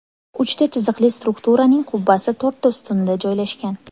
Uchta chiziqli strukturaning qubbasi to‘rtta ustunda joylashgan.